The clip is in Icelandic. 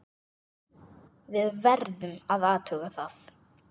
Við verðum að athuga það.